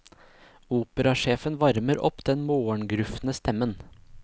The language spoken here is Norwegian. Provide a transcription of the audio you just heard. Operasjefen varmer opp den morgengrufne stemmen.